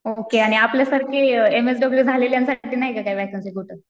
Okay मग आपल्यासारखे M S W झालेल्यांसाठी नाही का वेकेंसी कुठं?